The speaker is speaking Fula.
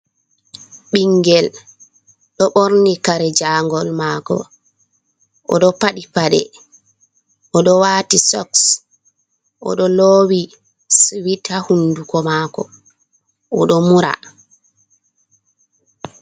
Ɓingel, ɗo borni kare jangol mako, oɗo paɗi paɗe, o ɗo wati soks, oɗo lowi suwit ha hunduko mako, o ɗo mura.